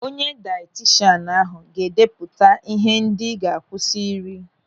Onye dayetishan ahụ ga-edeputa ihe ndị ị ga-akwụsị ịri.